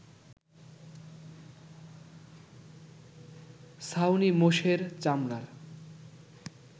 ছাউনি মোষের চামড়ার